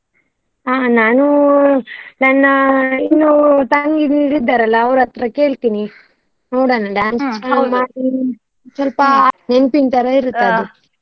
ಹಾ ನಾನು ನನ್ನ ಇನ್ನು ತಂಗಿ ಅಂದಿರು ಇದ್ದಾರಲ್ಲ ಅವ್ರ್ ಹತ್ರ ಕೇಳ್ತೀನಿ. ನೋಡೋಣ ಮಾಡ್ತೀನಿ ಅಂತ ಇದ್ರೆ, ಸ್ವಲ್ಪ ನೆನ್ಪಿನ್ ತರ ಅದು.